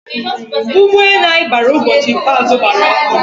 ụgbọ enu anyi bara ubochi ikpeazu gbara ọkụ